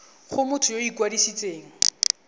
go motho yo o ikwadisitseng